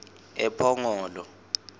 ephongolo